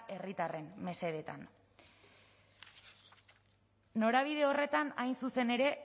herritarren mesedetan norabide horretan hain zuzen ere